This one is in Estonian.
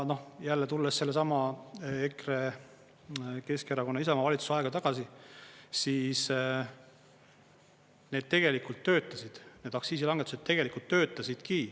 Jälle tulles sellesama EKRE, Keskerakonna, Isamaa valitsusaega tagasi, siis need tegelikult töötasid, need aktsiisilangetused tegelikult töötasidki.